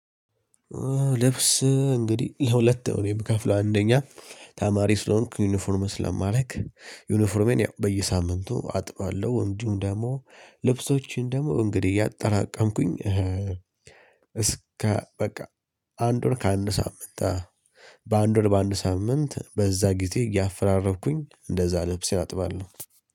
ልብስ እንግዲህ ለሁለት እኔ የምከፍለው አንደኛ ተማሪ ስለሆንኩኝ ዩኒፎርም ስለማደርግ ዩኒፎርሜን ያው በየሳምንቱ አጥባለሁ። እንዲሁም ደግሞ ልብሶቼን ደግሞ እንግዲህ ያጠራቀምኩኝ አጠራቀምኩኝ እስከ በቃ አንድ ወር ከአንድ ሳምንት በአንድ ወር በአንድ ሳምንት በዛ ጊዜ እያፈራረብኩኝ እንደዛ ልብሴን አጥባለሁ